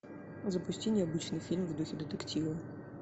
запусти необычный фильм в духе детектива